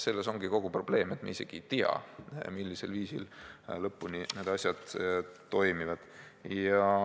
Selles ongi kogu probleem, et me isegi ei tea, millisel viisil lõpuni need asjad toimivad.